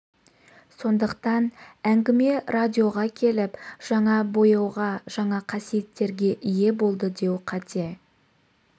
сондықтан әңгіме радиоға келіп жаңа бояуға жаңа қасиеттерге ие болды деу қате